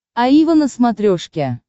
аива на смотрешке